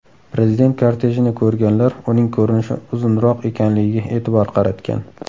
Prezident kortejini ko‘rganlar uning ko‘rinishi uzunroq ekanligiga e’tibor qaratgan.